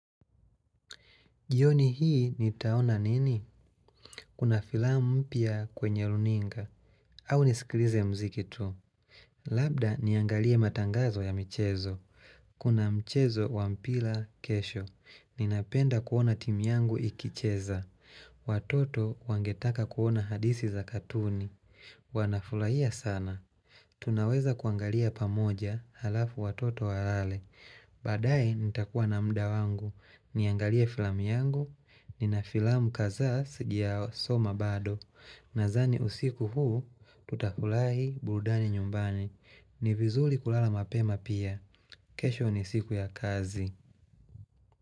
Jioni hii nitaona nini? Kuna filamu mpya kwenye runinga. Au niskilize muziki tu. Labda niangalie matangazo ya michezo. Kuna mchezo wa mpila kesho. Ninapenda kuona timu yangu ikicheza. Watoto wangetaka kuona hadisi za katuni. Wanafulahia sana. Tunaweza kuangalia pamoja halafu watoto walale. Baadaye nitakuwa na muda wangu Niangalie filamu yangu Ninafilamu kazaa sijasoma bado Nazani usiku huu Tutafulahi burudani nyumbani ni vizuli kulala mapema pia kesho ni siku ya kazi.